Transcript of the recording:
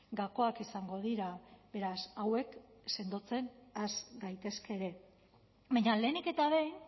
gakoak izango dira beraz hauek sendotzen has gaitezke ere baina lehenik eta behin